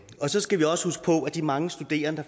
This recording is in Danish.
så skal vi også huske på at de mange studerende